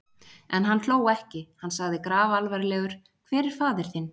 En hann hló ekki: Hann sagði grafalvarlegur:-Hver er faðir þinn?